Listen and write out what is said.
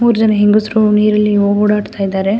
ಮೂರುಜನ ಹೆಂಗಸ್ರು ನೀರಲ್ಲಿ ಓ ಓಡಾಡ್ತಿದ್ದಾರೆ --